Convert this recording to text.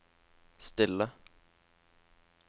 stille